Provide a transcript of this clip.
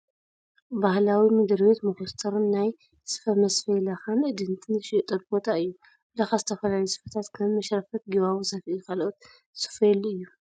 ባህላዊ ምድሪ ቤት መኮስተርን ናይ ስፈ መስፈይ ላካን እድንትን ዝሽየጠሉ ቦታ እዩ። ብላካ ዝተፈላለዩ ስፈታት ከም መሽረፈት ጊባቦ፡ ሰፍኢ ካልኦት ዝስፈየሉ እዩ።